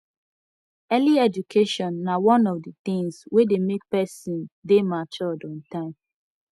early education na one of di things wey de make persin de matured on time